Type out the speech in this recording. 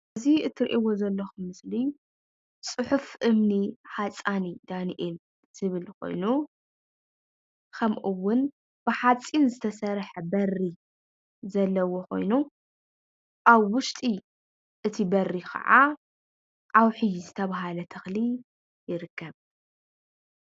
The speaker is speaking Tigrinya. እዚ እትርእይዎ ዘለኹም ምስሊ "ፅሑፍ እምኒ ሓፃኒ ዳኒኤል" ዝብል ኮይኑ ከምኡ ውን ብሓፂን ዝተሰርሐ በሪ ዘለዎ ኾይኑ ኣብ ውሽጢ እቲ በሪ ከዓ ዓውሒ ዝተባህለ ተክሊ ይርከብ፡፡